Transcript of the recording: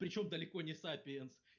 причём далеко не сапиенс